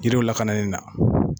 Jiriw lakanani na